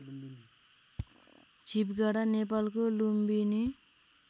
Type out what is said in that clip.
छिपगाडा नेपालको लुम्बिनी